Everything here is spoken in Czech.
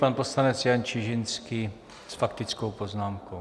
Pan poslanec Jan Čižinský s faktickou poznámkou.